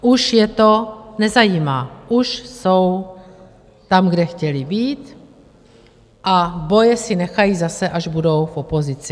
Už je to nezajímá, už jsou tam, kde chtěli být, a boje si nechají zase, až budou v opozici.